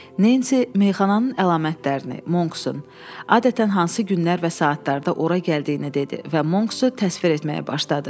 Nensi meyaxananın əlamətlərini, Monksun adətən hansı günlər və saatlarda ora gəldiyini dedi və Monksu təsvir etməyə başladı.